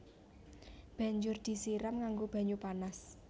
Banjur disiram nganggo banyu panas